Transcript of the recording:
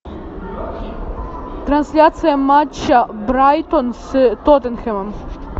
трансляция матча брайтон с тоттенхэмом